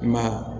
Ma